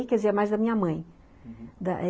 Aí, quer dizer, mais da minha mãe da